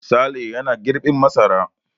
Sale yana girbin masara.